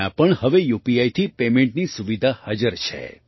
ત્યાં પણ હવે યુપીઆઈથી પેમેન્ટની સુવિધા હાજર છે